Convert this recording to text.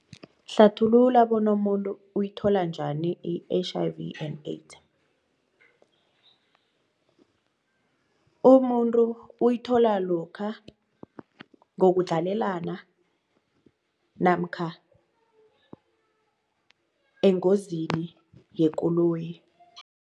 Hlathulula bona umuntu uyithola njani i-H_I_V and AIDS umuntu uyithola lokha ngokundlalelana namkha engozini yekoloyi.